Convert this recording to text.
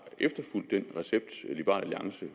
efterfulgt den recept liberal alliance